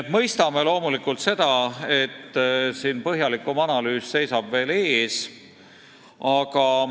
Me loomulikult mõistame seda, et põhjalikum analüüs seisab veel ees.